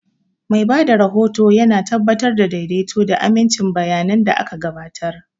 Mai ba da rahoto yana tabbatar da daidaito da amincin bayanan da aka gabatar.